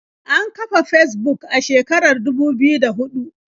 An kafa Fesbuk a shekarar dubu biyu da huɗu.